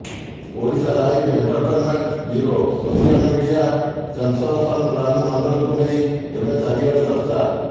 Odisha live entertainment bureau social media sensation Ranu ମଣ୍ଡଳଙ୍କୁ ନେଇ ଏବେ ଚାରିଆଡ଼େ ଚର୍ଚ୍ଚା